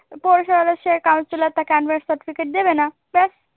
আর পৌরসভার counselor তাকে unmarried certificate দেবে না। ব্যাস